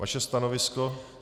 Vaše stanovisko?